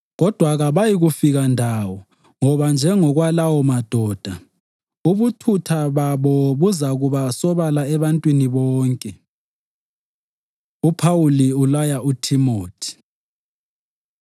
Kodwa kabayikufika ndawo ngoba njengokwalawo madoda, ubuthutha babo buzakuba sobala ebantwini bonke. UPhawuli Ulaya UThimothi